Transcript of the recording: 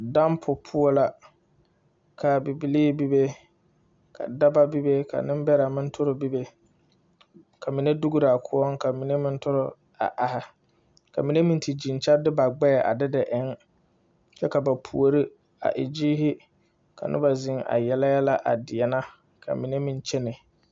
Dampo poɔ la ka bibilee bebe ka dɔbɔ bebe ka niŋbɛrɛ meŋ tɔre bebe ka mine dograa koɔŋ ka mine meŋ tɔre a are ka mine meŋ te gyeŋ kyɛ de ba gbɛɛ a de de eŋ kyɛ ka ba puori a e gyere ka noba ziŋ a yele yɛlɛ a deɛnɛ ka mine meŋ kyɛnɛ.